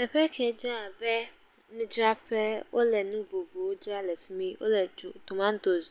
Teƒe ke dze abe nu dzraƒe, wole nu vovovowo dzra le fi mi, tomatos,